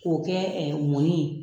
K'o kɛ mɔni ye.